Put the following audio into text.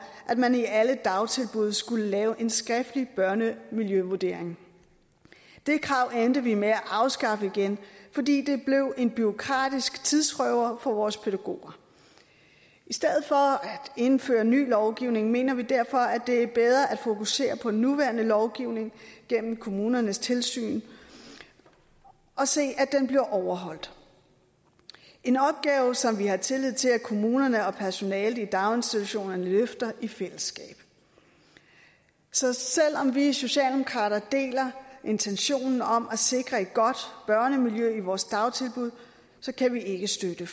at man i alle dagtilbud skulle lave en skriftlig børnemiljøvurdering det krav endte vi med at afskaffe igen fordi det blev en bureaukratisk tidsrøver for vores pædagoger i stedet for at indføre en ny lovgivning mener vi derfor at det er bedre at fokusere på nuværende lovgivning gennem kommunernes tilsyn og se at den bliver overholdt en opgave som vi har tillid til at kommunerne og personalet i daginstitutionerne løfter i fællesskab så selv om vi socialdemokrater deler intentionen om at sikre et godt børnemiljø i vores dagtilbud kan vi ikke støtte